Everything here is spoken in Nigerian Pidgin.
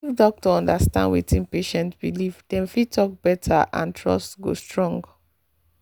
if doctor understand wetin patient believe dem fit talk better and trust go strong.